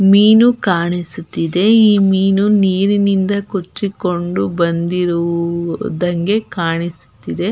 ಮೀನು ಕಾಣಿಸುತ್ತಿದೆ ಈ ಮೀನು ನೀರಿನಿಂದ ಕೊಚ್ಚಿಕೊಂಡು ಬಂದಿರುವುದಕ್ಕೆ ಕಾಣಿಸುತ್ತಿದೆ.